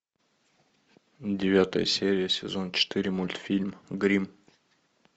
девятая серия сезон четыре мультфильм гримм